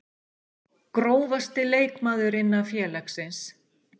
Grófasti leikmaður innan félagsins?